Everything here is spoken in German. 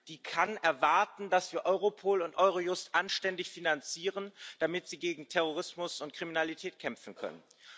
Die kann erwarten, dass wir Europol und Eurojust anständig finanzieren, damit sie gegen Terrorismus und Kriminalität kämpfen können.